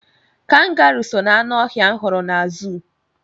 Kangaruu so na-aṅụ ọhịa m hụrụ na zuu.